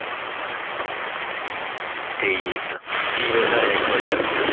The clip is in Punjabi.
ਠੀਕ ਹੈ ਕਿ ਵੈਂਦਾ ਰਿਹਾ ਹੈ ਇਕ ਬਜੇ ਤੱਕ